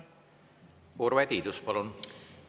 Urve Tiidus, palun!